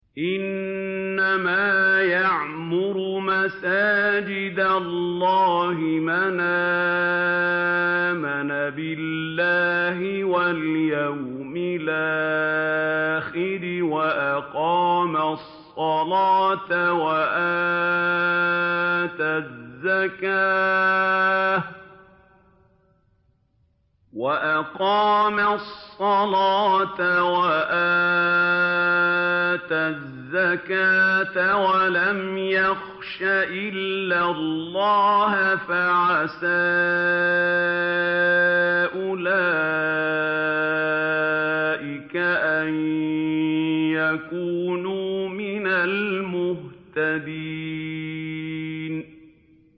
إِنَّمَا يَعْمُرُ مَسَاجِدَ اللَّهِ مَنْ آمَنَ بِاللَّهِ وَالْيَوْمِ الْآخِرِ وَأَقَامَ الصَّلَاةَ وَآتَى الزَّكَاةَ وَلَمْ يَخْشَ إِلَّا اللَّهَ ۖ فَعَسَىٰ أُولَٰئِكَ أَن يَكُونُوا مِنَ الْمُهْتَدِينَ